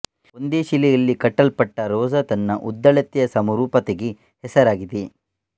ಒಂದೇ ಶಿಲೆಯಲ್ಲಿ ಕಟ್ಟಲ್ಪಟ್ಟ ರೋಜಾ ತನ್ನ ಉದ್ದಳತೆಯ ಸಮರೂಪತೆಗೆ ಹೆಸರಾಗಿದೆ